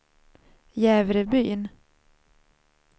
Jävrebyn